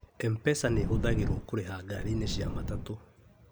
MPESA nihũthagĩrwo kũriha ngari -inĩ cia matatũ